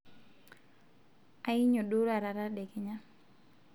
anyio duo taata tedekenya